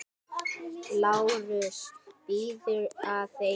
LÁRUS: Bíðið aðeins.